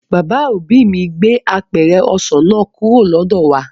Bàbá òbí mi gbé apẹ̀rẹ̀ ọsàn náà kúrò lọ́dọ̀ wà